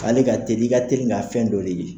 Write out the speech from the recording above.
K' ale ka teli , i ka teli k ka fɛn dɔ de ye.